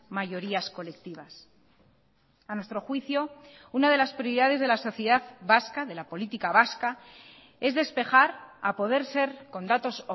mayorías colectivas a nuestro juicio una de las prioridades de la sociedad vasca de la política vasca es despejar a poder ser con datos